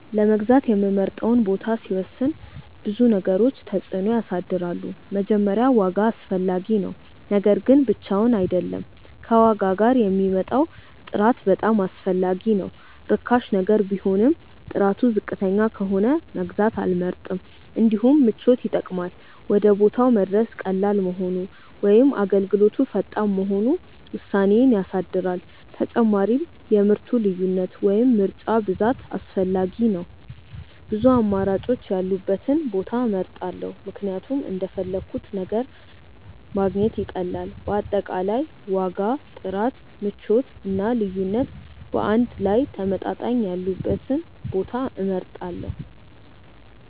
ለመግዛት የምመርጠውን ቦታ ሲወስን ብዙ ነገሮች ተጽዕኖ ያሳድራሉ። መጀመሪያ ዋጋ አስፈላጊ ነው፤ ነገር ግን ብቻውን አይደለም፣ ከዋጋ ጋር የሚመጣው ጥራት በጣም አስፈላጊ ነው። ርካሽ ነገር ቢሆንም ጥራቱ ዝቅተኛ ከሆነ መግዛት አልመርጥም። እንዲሁም ምቾት ይጠቅማል፤ ወደ ቦታው መድረስ ቀላል መሆኑ ወይም አገልግሎቱ ፈጣን መሆኑ ውሳኔዬን ያሳድራል። ተጨማሪም የምርቱ ልዩነት ወይም ምርጫ ብዛት አስፈላጊ ነው፤ ብዙ አማራጮች ያሉበትን ቦታ እመርጣለሁ ምክንያቱም እንደፈለግሁት ነገር ማግኘት ይቀላል። በአጠቃላይ ዋጋ፣ ጥራት፣ ምቾት እና ልዩነት በአንድ ላይ ተመጣጣኝ ያሉበትን ቦታ እመርጣለሁ።